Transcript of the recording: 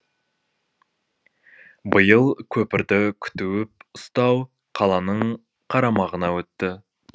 биыл көпірді күтіп ұстау қаланың қарамағына өтті